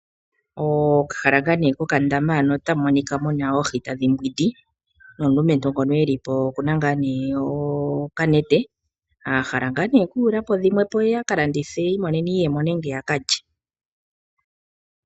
Okahala ngaa nee kokandama hano otamu monika muna oohi tadhi mbwindi nomulumentu ngono e li po okuna ngaa nee okanete, a hala ngaa nee okuyula po dhimwe po ye a ka landithe imonene iiyemo nenge a ka lye.